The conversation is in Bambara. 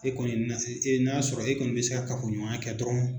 E kɔni ka ye n'a sɔrɔ e kɔni bɛ se ka kafoɲɔgɔnya kɛ dɔrɔn.